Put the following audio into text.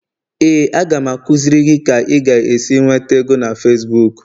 Éè, a ga m akụziri gị ka ị ga-esi nweta ego na Facibuku